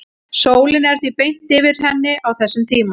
sólin er því beint yfir henni á þessum tíma